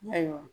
Ayiwa